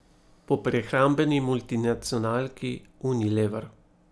Po prehrambeni multinacionalki Unilever.